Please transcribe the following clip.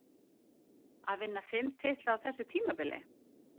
Að vinna fimm titla á þessu tímabili?